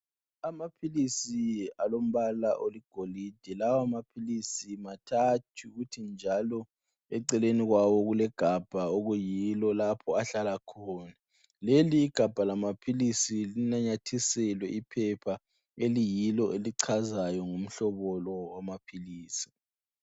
Amaphilisi alombala oligolide Lawamaphilisi mathathu .Njalo eceleni kwawo kulegabha okuyilo lapho ahlala khona .Leli igabha lamaphilisi linanyathiselwe iphepha eliyilo elichazayo ngo mhlobo lo wamaphilisi .